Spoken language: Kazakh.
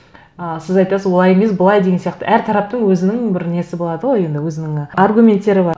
ы сіз айтасыз олай емес былай деген сияқты әр тараптың өзінің бір несі болады ғой енді өзінің ы аргументтері бар